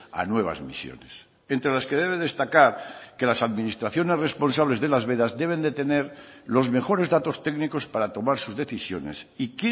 a nuevas misiones entre las que debe destacar que las administraciones responsables de las vedas deben de tener los mejores datos técnicos para tomar sus decisiones y